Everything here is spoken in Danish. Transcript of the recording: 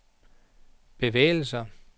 bevægelser